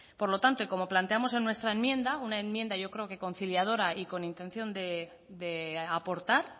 por lo tanto y como planteamos en nuestra enmienda una enmienda yo creo que conciliadora y con intención de aportar